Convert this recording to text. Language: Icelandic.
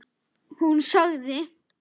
Hún sagði.